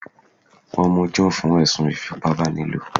Wọ́n mú John fún ẹ̀sùn ìfipábánilo